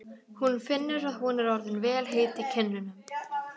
Hún finnur að hún er orðin vel heit í kinnum.